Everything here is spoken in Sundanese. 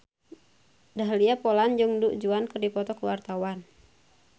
Dahlia Poland jeung Du Juan keur dipoto ku wartawan